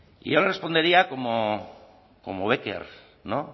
y yo le respondería como becker